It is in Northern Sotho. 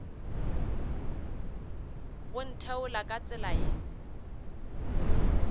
go ntheola ka tsela ye